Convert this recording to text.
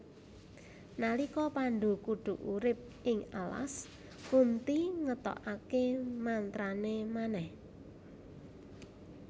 Nalika Pandhu kudu urip ing alas Kunthi ngetokake mantrane manèh